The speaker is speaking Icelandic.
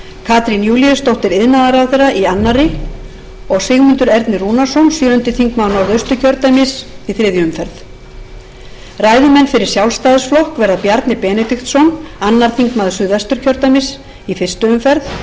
katrín júlíusdóttir iðnaðarráðherra í annarri og sigmundur ernir rúnarsson sjöundi þingmaður norðausturkjördæmis í þriðju umferð ræðumenn fyrir sjálfstæðisflokk verða bjarni benediktsson annar þingmaður suðvesturkjördæmis í fyrstu umferð ólöf nordal